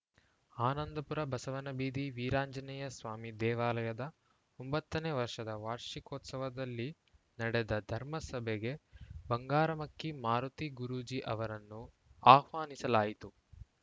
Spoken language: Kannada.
ಆನಂದಪುರ ಬಸವನಬೀದಿ ವೀರಾಂಜನೇಯಸ್ವಾಮಿ ದೇವಾಲಯದ ಒಂಬತ್ತನೇ ವರ್ಷದ ವಾಷಿಕೋತ್ಸವದಲ್ಲಿ ನಡೆದ ಧರ್ಮಸಭೆಗೆ ಬಂಗಾರಮಕ್ಕಿ ಮಾರುತಿ ಗುರೂಜೀ ಅವರನ್ನು ಆಹ್ವಾನಿಸಲಾಯಿತು